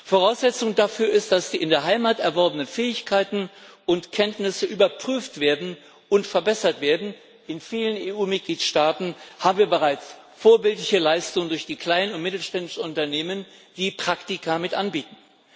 Voraussetzung dafür ist, dass die in der Heimat erworbenen Fähigkeiten und Kenntnisse überprüft und verbessert werden. In vielen EU Mitgliedstaaten haben wir bereits vorbildliche Leistungen durch die kleinen und mittelständischen Unternehmen, die Praktika mit anbieten.